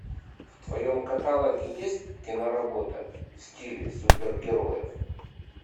в твоем каталоге есть киноработа в стиле супергероев